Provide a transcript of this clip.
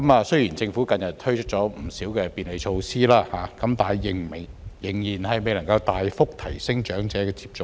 雖然政府近日推出不少便利措施，但仍然未能大幅提升長者的接種率。